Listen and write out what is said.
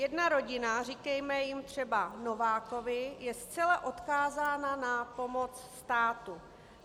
Jedna rodina, říkejme jim třeba Novákovi, je zcela odkázána na pomoc státu.